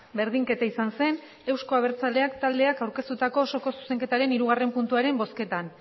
berdinketa izan zen euzko abertzaleak taldeak aurkeztutako osoko zuzenketaren hirugarren puntuaren bozketan